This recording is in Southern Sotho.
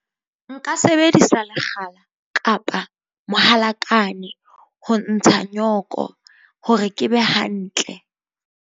Nka sebedisa lekgala kapa mohalakane ho ntsha nyoko hore ke be hantle.